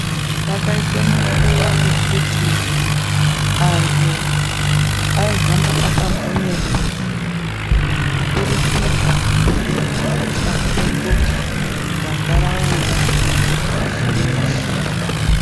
Pakaite mukuwo wekuti antu aihamba akambonye muromo kubudikidza ngebesha mupengo ranga rauya pashi reshe.